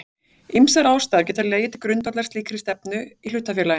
Ýmsar ástæður geta legið til grundvallar slíkri stefnu í hlutafélaginu.